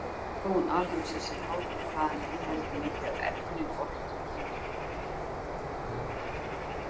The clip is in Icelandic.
Þróun alheimsins er háð því hvað hann inniheldur mikið af efni og orku.